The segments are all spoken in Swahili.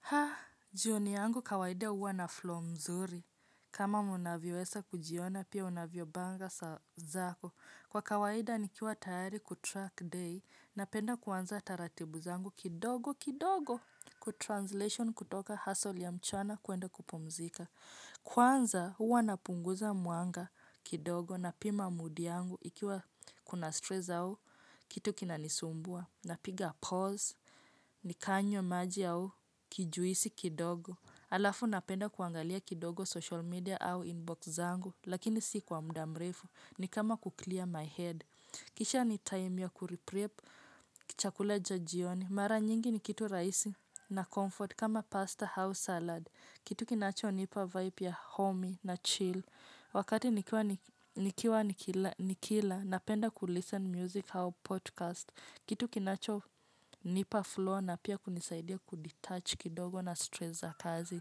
Ha! Jioni yangu kawaida huwa na 'flow' mzuri. Kama mnavyoweza kujiona pia unavyo panga saa zako. Kwa kawaida nikiwa tayari 'kutrack day' napenda kuanza taratibu zangu kidogo kidogo. 'Kutranslation' kutoka hustle ya mchana kwenda kupumzika. Kwanza huwa napunguza mwanga kidogo napima mudi yangu ikiwa kuna 'stress' au kitu kinanisumbua. Napiga 'pause' nikanywa maji au kijuisi kidogo. Halafu napenda kuangalia kidogo 'social media' au 'inbox' zangu. Lakini si kwa muda mrefu ni kama ku 'clear my head'. Kisha ni time ya kuriprip chakula cha jioni. Mara nyingi ni kitu rahisi na 'comfort' kama pasta au 'salad'. Kitu kinacho nipa vibe ya 'home' na 'chill'. Wakati nikiwa nikila napenda 'kulisten music' au 'podcast'. Kitu kinachonipa flow na pia kunisaidia 'kudetouch' kidogo na 'stress' za kazi.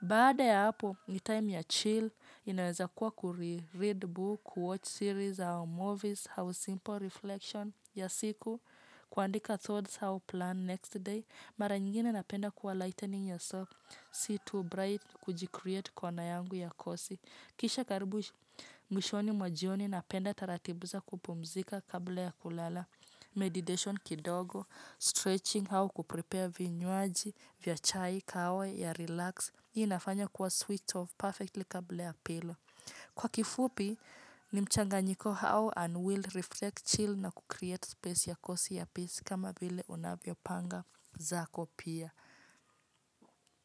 Baada ya hapo, ni time ya 'chill'. Inaweza kuwa kuri 'read book', ku 'watch series' hau 'movies' au 'simple reflection' ya siku. Kuandika 'thoughts how to plan next day'. Mara nyingine napenda kwa 'lightening ya soft'. Si 'too bright. Kujikreat' kona yangu ya kosi. Kisha karibu mwishoni mwa jioni napenda taratibu za kupumzika kabla ya kulala. 'Meditation' kidogo, 'Stretching' au 'kuprepare' vinywaji vya chai kahawa ya 'relax' hii inafanya kuwa 'sweet of Perfectly' kabla ya 'pillow'. Kwa kifupi ni mchanganyiko 'how and will reflect chill na kukreate space' ya kosi ya pisi kama bile unavyopanga zako pia.